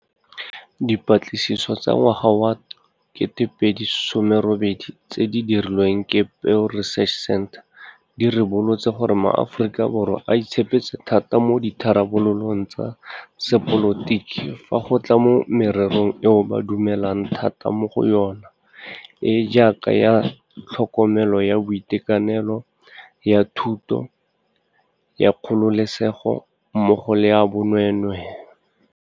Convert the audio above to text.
Dipatlisiso tsa ngwaga wa 2018 tse di dirilweng ke Pew Research Center di ribolotse gore maAforika Borwa a itshepetse thata mo ditharabololong tsa sepolotiki fa go tla mo mererong eo ba dumelang thata mo go yona, e e jaaka ya tlhokomelo ya boitekanelo, ya thuto, ya kgololesego mmogo le ya bonweenwee.